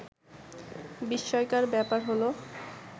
বিস্ময়কর ব্যাপার হলো